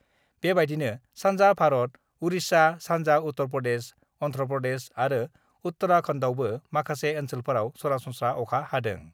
बेबायदिनो सान्जा भारत उरिष्या, सान्जा उत्तर प्रदेश, अन्ध्र प्रदेश आरो उत्तराखन्डआवबो माखासे ओन्सोलफोराव सरासनस्राअखा हादों।